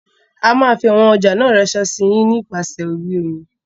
A máa fi àwọn ọjà náà ránsé sí yín nípa sè orí omi.